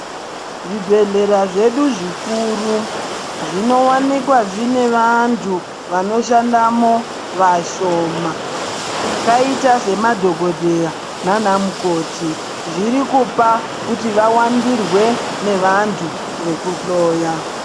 Zvibhedhlera zvedu zvikru zvinowanikwa zvine vantu vanoshandamo vashoma vakaita semadhokodhera naana mukhoti zviri kupa kuti vawandirwe nevantu vekuhloya.